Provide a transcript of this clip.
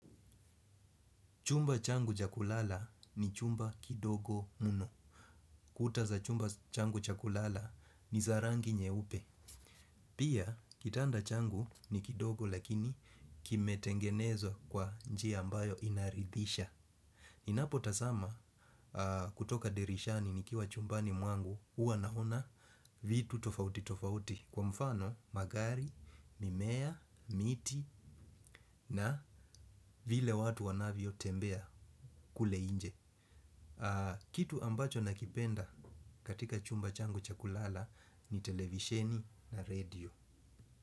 Chumba changu cha kulala ni chumba kidogo mno. Kuta za chumba changu cha kulala ni za rangi nyeupe. Pia, kitanda changu ni kidogo lakini kime tengenezwa kwa njia ambayo inaridhisha. Ninapo tazama kutoka dirishani nikiwa chumbani mwangu, hua naona vitu tofauti tofauti. Kwa mfano, magari mimea, miti na vile watu wanavyo tembea kule nje. Kitu ambacho nakipenda katika chumba changu cha kulala ni televisheni na radio.